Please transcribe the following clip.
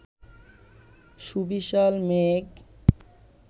সুবিশাল মেঘ